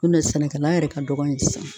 Nɔn tɛ sɛnɛkɛla yɛrɛ ka dɔgɔn yen sisan.